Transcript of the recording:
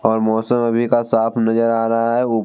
और मौसम अभी का साफ़ नजर आ रहा है ऊप --